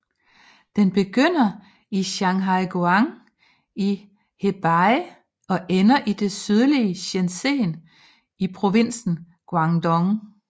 Den begynder i Shanhaiguan i Hebei og ender i det sydlige Shenzhen i provinsen Guangdong